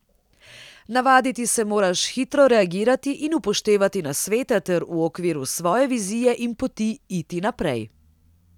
Navaditi se moraš hitro reagirati in upoštevati nasvete ter v okviru svoje vizije in poti iti naprej.